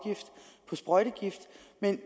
at